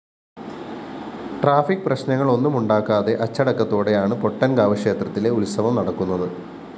traffic പ്രശ്‌നങ്ങളൊന്നുമുണ്ടാക്കാതെ അച്ചടക്കത്തോടെയാണ് പൊട്ടന്‍കാവ് ക്ഷേത്രത്തിലെ ഉത്സവം നടക്കുന്നത്